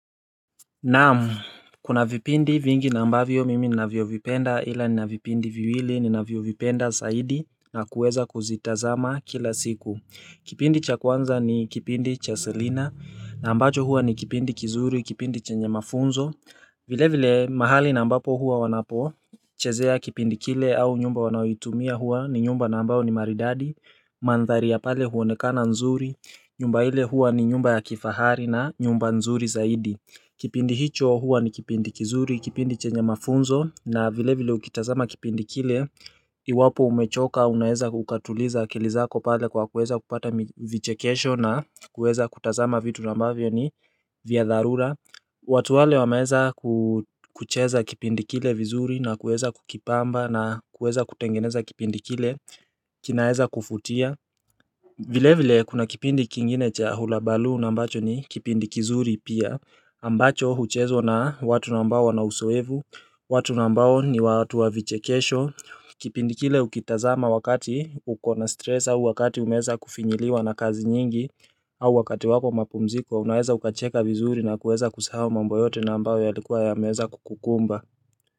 Naam, kuna vipindi vingi na ambavyo mimi ninavyovipenda ila nina vipindi viwili ninavyovipenda zaidi na kuweza kuzitazama kila siku Kipindi cha kwanza ni kipindi cha selina na ambacho huwa ni kipindi kizuri, kipindi chenye mafunzo vile vile mahali na ambapo huwa wanapochezea kipindi kile au nyumba wanayoitumia huwa ni nyumba na ambayo ni maridadi Mandhari ya pale huonekana nzuri, nyumba ile hua ni nyumba ya kifahari na nyumba nzuri zaidi Kipindi hicho huwa ni kipindi kizuri, kipindi chenye mafunzo na vile vile ukitazama kipindi kile Iwapo umechoka unaeza ukatuliza akili zako pale kwa kueza kupata vichekesho na kueza kutazama vitu ambavyo ni vya dharura watu wale wameeza kucheza kipindi kile vizuri na kueza kukipamba na kueza kutengeneza kipindi kile kinaeza kuvutia vile vile kuna kipindi kingine cha hulabalu na ambacho ni kipindi kizuri pia ambacho huchezwa na watu ambao wana uzoevu watu ambao ni watu wavichekesho Kipindi kile ukitazama wakati uko na stress au wakati umeeza kufinyiliwa na kazi nyingi au wakati wako wa mapumziko unaweza ukacheka vizuri na kuweza kusahau mambo yote na ambayo yalikuwa yameeza kukukumba.